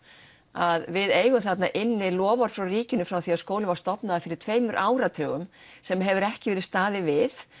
að við eigum þarna inni loforð frá ríkinu frá því að skólinn var stofnaður fyrir tveimur áratugum sem hefur ekki verið staðið við